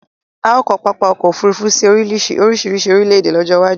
A o ko papa ọkọ ofurufu si orisirisi orile ede lojo iwaju